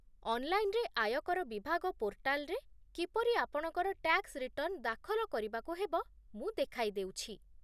ଅନ୍‌ଲାଇନରେ ଆୟକର ବିଭାଗ ପୋର୍ଟାଲରେ କିପରି ଆପଣଙ୍କର ଟ୍ୟାକ୍ସ ରିଟର୍ଣ୍ଣ ଦାଖଲ କରିବାକୁ ହେବ, ମୁଁ ଦେଖାଇ ଦେଉଛି